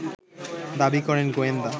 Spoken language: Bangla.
দাবি করেন গোয়েন্দা